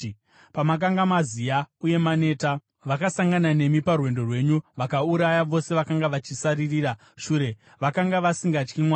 Pamakanga maziya uye maneta, vakasangana nemi parwendo rwenyu vakauraya vose vakanga vachisaririra shure; vakanga vasingatyi Mwari.